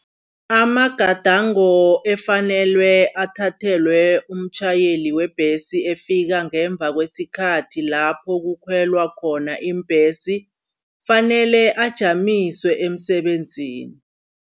Amagadango efanelwe athathelwe umtjhayeli webhesi ofika ngemva kwesikhathi lapho kukhwelwa khona iimbhesi. Kufanele ajanyiswe emsebenzini.